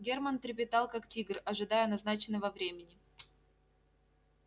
германн трепетал как тигр ожидая назначенного времени